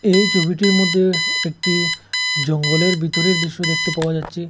এই ছবিটির মধ্যে একটি জঙ্গলের ভিতরে দৃশ্য দেখতে পাওয়া যাচ্ছে।